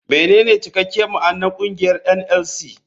Menene cikakken ma'anar kungiyar NLC.